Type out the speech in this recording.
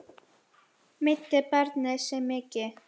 Meiddi barnið sig mikið?